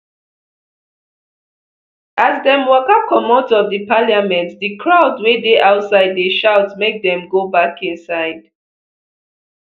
as dem waka comot of di parliament di crowd wey dey outside dey shout make dem go back inside